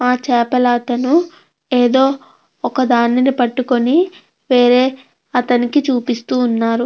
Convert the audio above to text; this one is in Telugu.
ఆ చేపలతను ఏదో ఒకదాన్ని పట్టుకొని వేరే అతనికి చూపిస్తున్నారు.